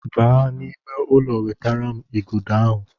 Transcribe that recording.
Baa n'ime ụlọ wetara m igodo ahụ!